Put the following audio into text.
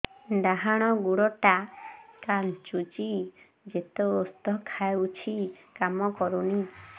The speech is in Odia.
ଡାହାଣ ଗୁଡ଼ ଟା ଖାନ୍ଚୁଚି ଯେତେ ଉଷ୍ଧ ଖାଉଛି କାମ କରୁନି